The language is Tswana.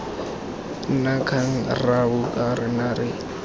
na kgang rraabo kana re